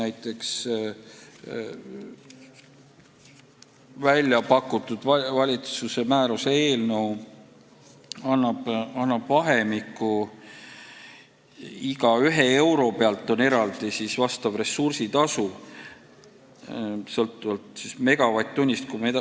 Näiteks väljapakutud valitsuse määruse eelnõu annab vahemiku, et iga 1 euro pealt on eraldi vastav ressursitasu, mis sõltub megavatt-tunni hinnast.